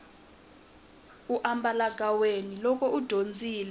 u ambalagaweni loko u dyondzile